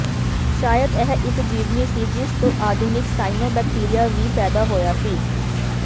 ਸ਼ਾਇਦ ਇਹ ਇਕ ਜੀਵਨੀ ਸੀ ਜਿਸ ਤੋਂ ਆਧੁਨਿਕ ਸਾਇਨੋਬੈਕਟੀਰੀਆ ਵੀ ਪੈਦਾ ਹੋਇਆ ਸੀ